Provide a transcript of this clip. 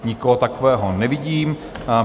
Nikoho takového nevidím.